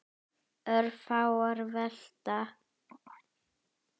Örfáar velta.